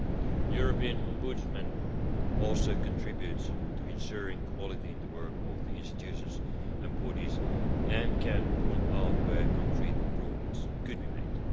The European Ombudsman also contributes to ensuring quality in the work of the institutions and bodies and can point out where concrete improvements could be made.